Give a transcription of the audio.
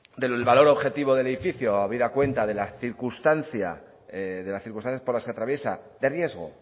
del valor objetivo del edificio habida cuenta de las circunstancias por las que atraviesa de riesgo